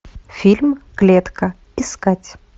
фильм клетка искать